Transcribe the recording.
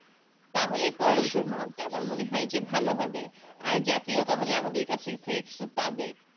তাহলেই পড়াশোনার মনটা আমার মনে হয় যে ভালো হবে আর জাতি ও তাহলে আমাদের কাছে এর থেকে কিছু পাবে